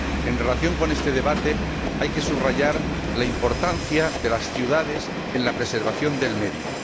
En relación con este debate hay que subrayar la importancia de las ciudades en la preservación del medio.